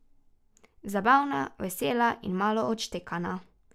Zabavna, vesela in malo odštekana.